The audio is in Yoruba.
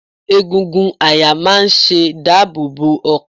Egungun àyà máa ṣe dáàbò bo ọkàn.